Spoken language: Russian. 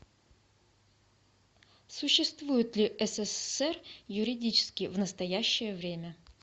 существует ли ссср юридически в настоящее время